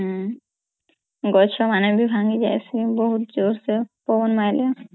ଗଛ ମାନେ ବି ଭାଂଗୀ ଯାନ୍ତି ବହୁତ୍ ଯୋର୍ ପବନ୍ ମାଇଲେ